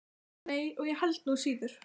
Nei, og ég held nú síður.